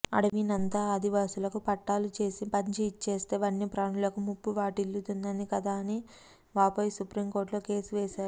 అడవినంతా ఆదివాసులకు పట్టాలుచేసి పంచి ఇచ్చేస్తే వన్యప్రాణులకు ముప్పు వాటిల్లుతుంది కదా అని వాపోయి సుప్రీం కోర్టులో కేసు వేశారు